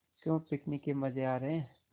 क्यों पिकनिक के मज़े आ रहे हैं